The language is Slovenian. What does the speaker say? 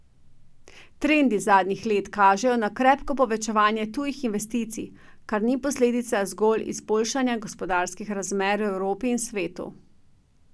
Trendi zadnjih let kažejo na krepko povečanje tujih investicij, kar ni posledica zgolj izboljšanja gospodarskih razmer v Evropi in svetu.